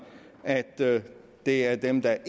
at det det er dem der